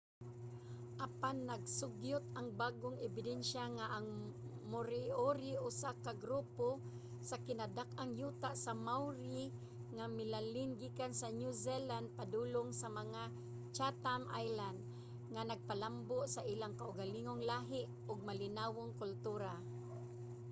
apan nagasugyot ang bag-ong ebidensya nga ang moriori usa ka grupo sa kinadak-ang yuta sa maori nga milalin gikan sa new zealand padulong sa mga chatham islands nga nagpalambo sa ilang kaugalingong lahi ug malinawong kultura